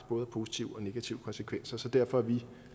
både positive og negative konsekvenser så derfor er vi